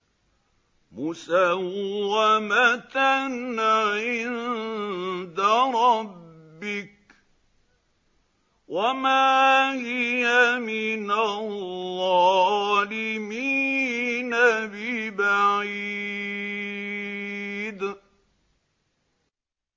مُّسَوَّمَةً عِندَ رَبِّكَ ۖ وَمَا هِيَ مِنَ الظَّالِمِينَ بِبَعِيدٍ